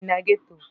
M bi na geto.